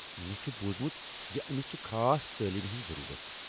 مےٚ چُھ بوٗزمُت زِ أمِس چھِ خاص تعلیمٕہِ ہنز ضروٗرت۔